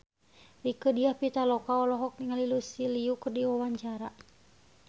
Rieke Diah Pitaloka olohok ningali Lucy Liu keur diwawancara